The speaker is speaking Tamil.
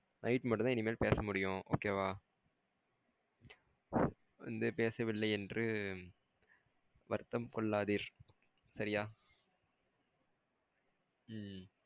Night மட்டும்தான் என்னால பேச முடியும் okay வா? வந்து பேசவில்லை என்று வருத்தம் கொள்ளதிர் சரியா ம்.